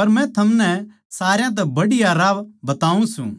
पर मै थमनै सारया तै बढ़िया राह बताऊँ सूं